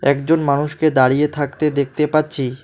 একজন মানুষকে দাঁড়িয়ে থাকতে দেখতে পাচ্ছি।